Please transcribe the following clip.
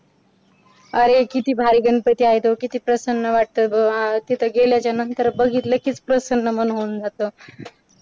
अरे किती भारी गणपती आहे तो किती प्रसन्न वाटतं बघ तिथं गेल्याच्या नंतर बघितलं की बघितलं किच प्रसन्न मन होऊन जातं.